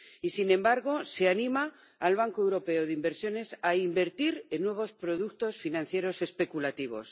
Y, sin embargo, se anima al Banco Europeo de Inversiones a invertir en nuevos productos financieros especulativos.